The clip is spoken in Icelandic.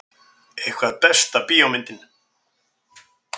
Eitthvað Besta bíómyndin?